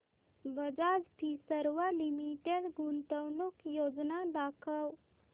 Bajaj Finserv Limited गुंतवणूक योजना दाखव